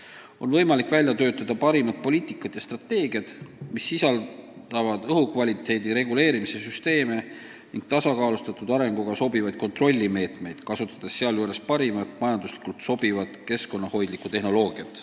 On võimalik välja töötada parimad poliitikad ja strateegiad, mis näevad ette õhu kvaliteedi reguleerimise süsteeme ning tasakaalustatud arenguga sobivaid kontrollimeetmeid, kasutades sealjuures parimat, majanduslikult sobivat ja keskkonnahoidlikku tehnoloogiat.